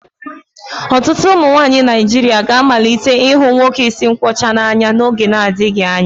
Ọtụtụ ụmụ nwanyị Naijiria ga-amalite ịhụ nwoke isi nkwọcha n'anya n'oge adịghị anya